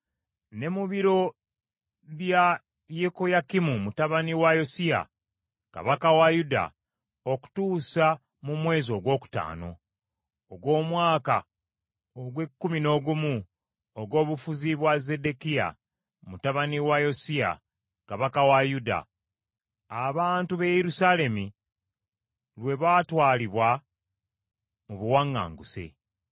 ne mu biro bya Yekoyakimu mutabani wa Yosiya kabaka wa Yuda, okutuusa mu mwezi ogwokutaano, ogw’omwaka ogw’ekkumi n’ogumu ogw’obufuzi bwa Zeddekiya mutabani wa Yosiya kabaka wa Yuda, abantu b’e Yerusaalemi lwe baatwalibwa mu buwaŋŋanguse.